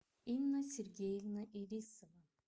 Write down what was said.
инна сергеевна ирисова